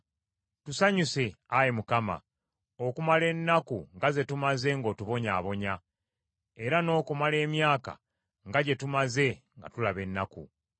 Tusanyuse, Ayi Mukama , okumala ennaku nga ze tumaze ng’otubonyaabonya, era n’okumala emyaka nga gye tumaze nga tulaba ennaku.